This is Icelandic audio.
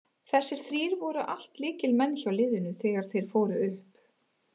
Þessir þrír voru allt lykilmenn hjá liðinu þegar þeir fóru upp.